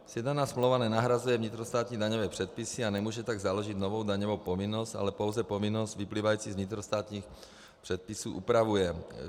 Sjednaná smlouva nenahrazuje vnitrostátní daňové předpisy a nemůže tak založit novou daňovou povinnost, ale pouze povinnost vyplývající z vnitrostátních předpisů upravuje.